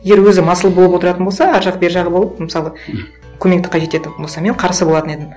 егер өзі масыл болып отыратын болса ар жақ бері жағы болып мысалы көмекті қажет етіп болса мен қарсы болатын едім